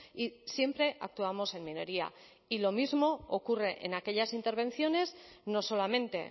y siempre actuamos en minoría y lo mismo ocurre en aquellas intervenciones no solamente